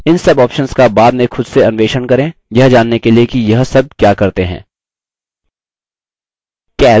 इन सब options का बाद में खुद से अन्वेषण करें यह जानने के लिए कि यह सब क्या करते हैं